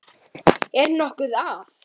Er nokkuð að?